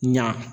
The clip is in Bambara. Ɲa